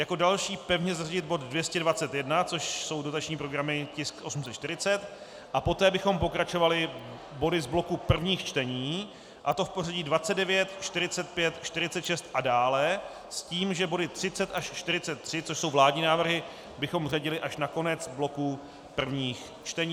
Jako další pevně zařadit bod 221, což jsou dotační programy, tisk 840, a poté bychom pokračovali body z bloku prvních čtení, a to v pořadí 29, 45, 46 a dále s tím, že body 30 až 43, což jsou vládní návrhy, bychom řadili až na konec bloku prvních čtení.